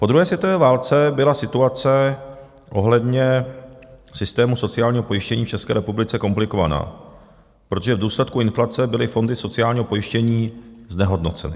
"Po druhé světové válce byla situace ohledně systému sociálního pojištění v České republice komplikovaná, protože v důsledku inflace byly fondy sociálního pojištění znehodnoceny.